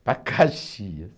Para Caxias.